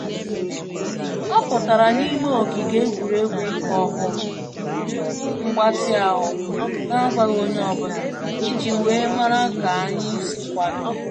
Ọ pụtara n'ime ogige egwuregwu ịkụ ọkpọ mgbatị ahụ na agwaghị onye ọ bụla, iji wee mara ka anyị si akwado